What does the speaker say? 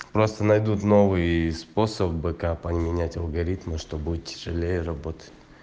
просто найдут новые способы как поменять алгоритмы что будет тяжелее работать